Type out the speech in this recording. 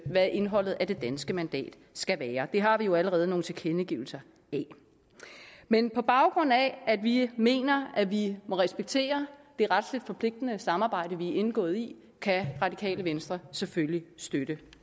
hvad indholdet af det danske mandat skal være det har vi jo allerede fået nogle tilkendegivelser af men på baggrund af at vi mener at vi må respektere det retligt forpligtende samarbejde vi er indgået i kan radikale venstre selvfølgelig støtte